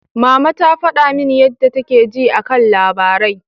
Mama ta faɗa min yadda take ji a kan labarai.